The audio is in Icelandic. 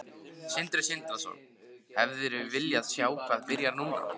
Sindri Sindrason: Hefðirðu viljað sjá það byrja núna?